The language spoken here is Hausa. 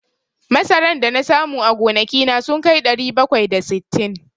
Masaran da na samu a gonaki na sun kai ɗari bakwai da sittin.